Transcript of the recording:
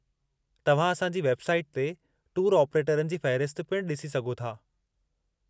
तव्हां असां जी वेब साईट ते टूर ऑप्रेटरनि जी फ़हिरसत पिणु डि॒सी सघो था।